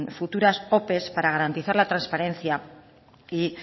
futuras ope para garantizar la transparencia y